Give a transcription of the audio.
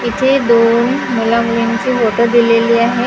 इथे दोन मुला मुलींचे फोटो दिलेली आहे.